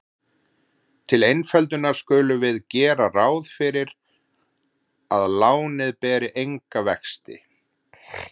Til einföldunar skulum við gera ráð fyrir að lánið beri enga vexti.